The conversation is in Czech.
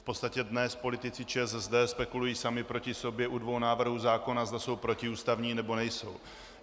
V podstatě dnes politici ČSSD spekulují sami proti sobě u dvou návrhů zákona, zda jsou protiústavní, nebo nejsou.